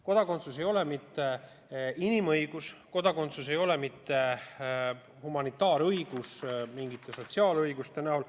Kodakondsus ei ole mitte inimõigus, kodakondsus ei ole humanitaarõigus mingite sotsiaalõiguste näol.